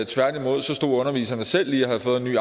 tværtimod stod underviserne selv lige og havde fået en ny